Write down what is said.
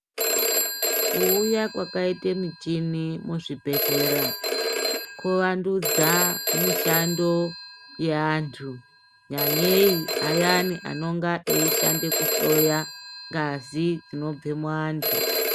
Kuuya kwakaita michini muzvibhedhlera, kuvanutsa mishando yeanthu, nyanyei ayani anenge eishande kuhloya ngazi inobve muanthu.